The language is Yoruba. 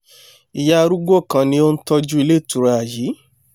ìyá arúgbó kan ni ó ń tọ́jú ilé ìtura yìí